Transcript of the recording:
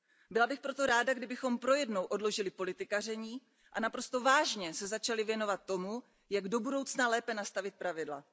Byla bych proto ráda, kdybychom pro jednou odložili politikaření a naprosto vážně se začali věnovat tomu, jak do budoucna lépe nastavit pravidla.